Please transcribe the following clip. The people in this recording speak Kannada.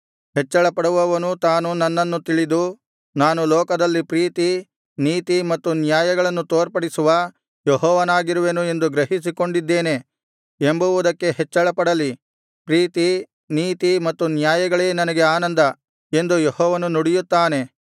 ಹೆಚ್ಚಳಪಡುವವನು ತಾನು ನನ್ನನ್ನು ತಿಳಿದು ನಾನು ಲೋಕದಲ್ಲಿ ಪ್ರೀತಿ ನೀತಿ ಮತ್ತು ನ್ಯಾಯಗಳನ್ನು ತೋರ್ಪಡಿಸುವ ಯೆಹೋವನಾಗಿರುವೆನು ಎಂದು ಗ್ರಹಿಸಿಕೊಂಡಿದ್ದೇನೆ ಎಂಬುವುದಕ್ಕೇ ಹೆಚ್ಚಳಪಡಲಿ ಪ್ರೀತಿ ನೀತಿ ಮತ್ತು ನ್ಯಾಯಗಳೇ ನನಗೆ ಆನಂದ ಎಂದು ಯೆಹೋವನು ನುಡಿಯುತ್ತಾನೆ